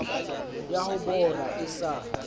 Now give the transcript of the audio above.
ya ho bora e sa